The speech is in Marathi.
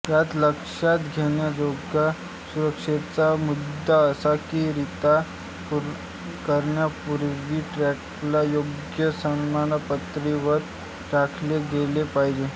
यात लक्षात घेण्याजोगा सुरक्षेचा मुद्दा असा की रिता करण्यापूर्वी ट्रकला योग्य समपातळीवर राखले गेले पाहिजे